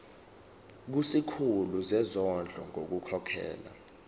kusikhulu sezondlo ngokukhokhela